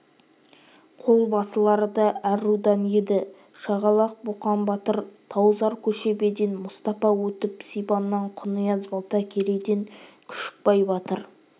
қол басылары да әр рудан еді шағалақ боқан батыр таузар-көшебеден мұстапа өсіп сибаннан құнияз балта керейден күшікбай батыр